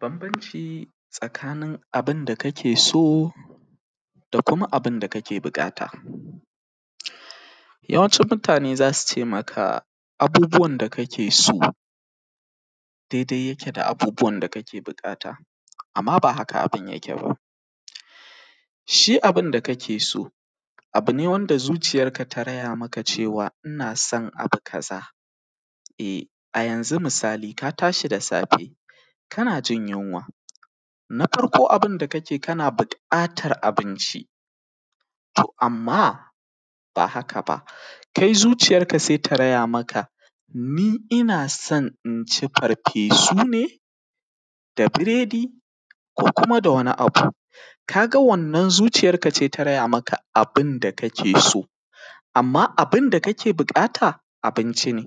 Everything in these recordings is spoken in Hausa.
Bambanci tsakanin abin da kake so da kuma abin da kake biƙata. Yawancinmutane za su ce maka, abubuwan da ka ke so, dedai yake da bubuwan da ka ke biƙata, amma bah aka abin yake ba. Shi abin da ka ke so, abi ne wanda zuciyarka ta raya maka cewa ina so abu kaza, eh, a yanzu misali, ka tashi da safe, kana jin yunwa, na farko abin da ka ke kana biƙatar abinci. To, amma, ba haka ba, kai zuciyarka se ta gaya maka, ni ina son in ci farfesu ne, da biredi ko kuma da wani abu. Ka ga wannan zuciyarka ce ta raya maka abin da kake so, amma abin da kake biƙata, abinci ne,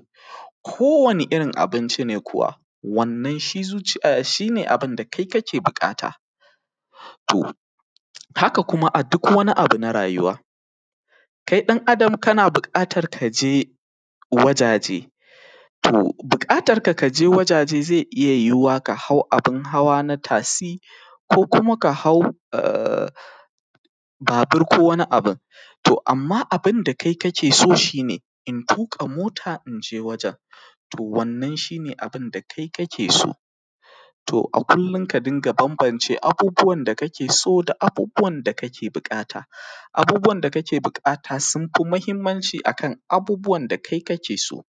kowane irin abinci ne kuwa. Wannan shi zuci; ah; shi ne abin da kai kake biƙata. To, haka kuma a duk wani abu na rayuwa, kai ɗan Adam kana biƙatar ka je wajaje, to, biƙatarka ka je wajaje ze iya yuwuwa ka hau abin hawa na tasi ko kuma ka hau ahh; babir ko wani abin. To amma abin da kai kake so shi ne, in tuƙa mota in je wajen, to wannan shi ne abin da kai kake so. To a kullin ka dinga bambance abubuwan da kake so da abubuwan da kake buƙata, abubuwan da kake buƙata sun fi mahimmanci a kan abubuwan da kai kake so.